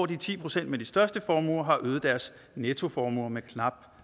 de ti procent med de største formuer har øget deres nettoformuer med knap